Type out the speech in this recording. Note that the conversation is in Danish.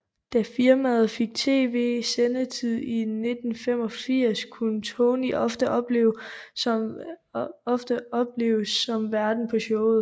Da firmaet fik TV sendetid i 1985 kunne Tony ofte opleves som værten på showet